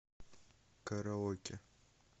караоке